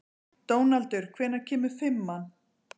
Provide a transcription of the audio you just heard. Dónaldur, hvenær kemur fimman?